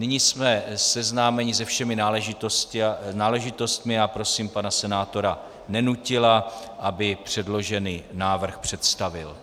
Nyní jsme seznámeni se všemi náležitostmi a prosím pana senátora Nenutila, aby předložený návrh představil.